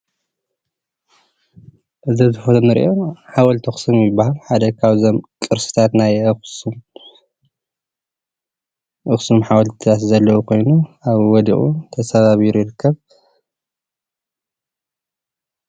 እዚ እንርኦ ሓወልቲ ኣክሱም ይባሃል ሓደ ካብዞም ቅርስታት ናይ ኣክሱም ሓወልቲ ዘለዉ ኮይኑ ኣብኡ ወዲቁ ተሰባቢሩ ይርከብ።